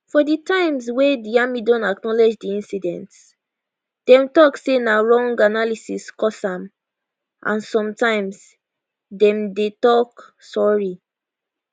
for di times wey di army don acknowledge di incidents dem tok say na wrong analysis cause am and sometimes dem dey tok sorry